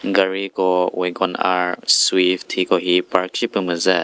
gari ko wangor swift hikohi park shi püh müzü.